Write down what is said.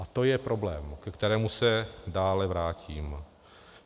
A to je problém, ke kterému se dále vrátím.